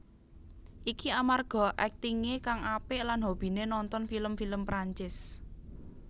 Iki amarga aktingé kang apik lan hobiné nonton film film Perancis